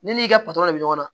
Ne n'i ka patɔrɔn bɛ ɲɔgɔn na